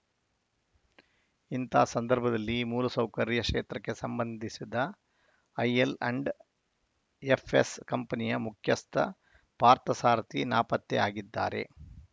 ಇಂತಹ ಸಂದರ್ಭದಲ್ಲಿ ಮೂಲಸೌಕರ್ಯ ಕ್ಷೇತ್ರಕ್ಕೆ ಸಂಬಂಧಿಸಿದ ಐಎಲ್‌ ಆ್ಯಂಡ್‌ ಎಫ್‌ಎಸ್‌ ಕಂಪನಿಯ ಮುಖ್ಯಸ್ಥ ಪಾರ್ಥಸಾರಥಿ ನಾಪತ್ತೆಯಾಗಿದ್ದಾರೆ